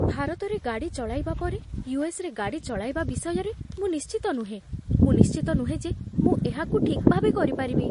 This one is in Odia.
ଭାରତରେ ଗାଡ଼ି ଚଳାଇବା ପରେ ୟୁ.ଏସ୍.ରେ ଗାଡ଼ି ଚଳାଇବା ବିଷୟରେ ମୁଁ ନିଶ୍ଚିତ ନୁହେଁ। ମୁଁ ନିଶ୍ଚିତ ନୁହେଁ ଯେ ମୁଁ ଏହାକୁ ଠିକ୍ ଭାବେ କରିପାରିବି।